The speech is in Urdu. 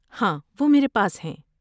ہاں، وہ میرے پاس ہیں۔